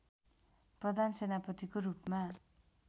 प्रधान सेनापतिको रूपमा